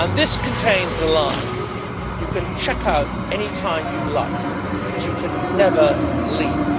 which contains the line You can check out any time you like, but you can never leave!'.